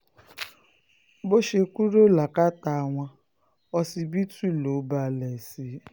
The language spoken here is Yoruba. kódà bó ṣe kúrò lákàtà wọn ọsibítù ló balẹ̀ sí